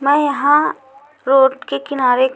मैं यहाँ रोड के किनारे--